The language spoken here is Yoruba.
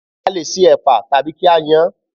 A lè se ẹ̀pà tàbí kí á yan án